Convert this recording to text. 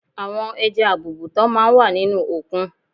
Àwọn ẹja àbùùùtán máa ń wà nínú òkun.